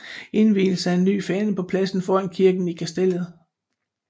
Indvielse af ny fane på pladsen foran kirken i Kastellet